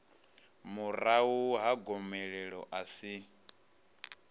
murahu ha gomelelo a si